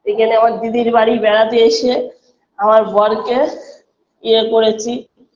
এখানে আমার দিদির বাড়ি বেড়াতে এসে আমার বরকে ইয়ে করেছি